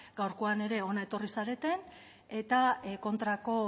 gaurkoan ere hona etorri zarete eta kontrako